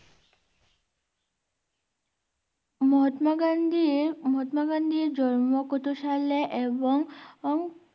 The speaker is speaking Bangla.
মহাত্মা গান্ধীর, মহাত্মা গান্ধীর জন্ম কত সালে এবং ?